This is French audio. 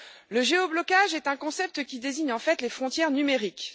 Le géoblocage est un concept qui désigne en fait les frontières numériques.